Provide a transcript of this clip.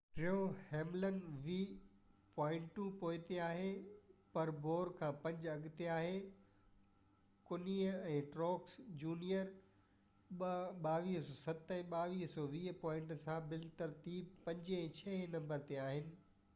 ٽيون هيملن ويهه پوائنٽو پوئتي آهي پر بوير کان پنج اڳتي آهي ڪهني ۽ ٽروڪس جونيئر 2,220 ۽ 2,207 پوائنٽن سان ترتيبوار پنجين ۽ ڇهين نمبر تي آهن